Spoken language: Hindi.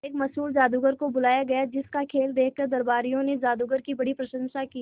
एक मशहूर जादूगर को बुलाया गया जिस का खेल देखकर दरबारियों ने जादूगर की बड़ी प्रशंसा की